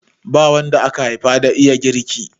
Ba wanda aka haifa da iya girki.